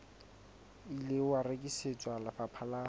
ile wa rekisetswa lefapha la